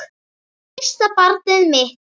Og fyrsta barnið mitt.